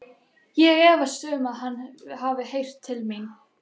Ég efast um, að hann hafi heyrt til mín.